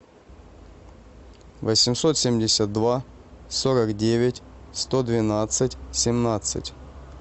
восемьсот семьдесят два сорок девять сто двенадцать семнадцать